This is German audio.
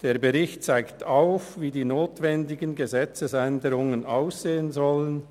Der Bericht zeigt auf, wie die notwendigen Gesetzesänderungen aussehen sollen.